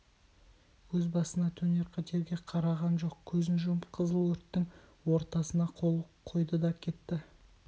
өз басына төнер қатерге қараған жоқ көзін жұмып қызыл өрттің ортасына қойды да кетті